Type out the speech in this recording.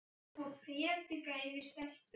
Svona, hættu nú að predika yfir stelpunni.